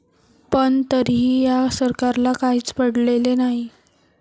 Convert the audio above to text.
पण तरीही या सरकारला काहीच पडलेले नाही.